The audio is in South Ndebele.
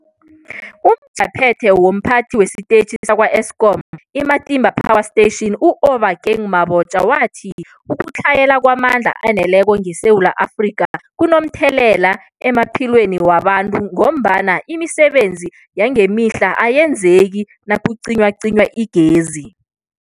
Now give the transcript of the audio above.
UmJaphethe womPhathi wesiTetjhi sakwa-Eskom i-Matimba Power Station u-Obakeng Mabotja wathi ukutlhayela kwamandla aneleko ngeSewula Afrika kunomthelela emaphilweni wabantu ngombana imisebenzi yangemihla ayenzeki nakucinywacinywa igezi.